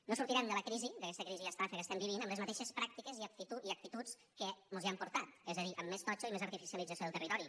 no sortirem de la crisi d’aquesta crisi estafa que estem vivint amb les mateixes pràctiques i actituds que mos hi han portat és a dir amb més totxo i més artificialització del territori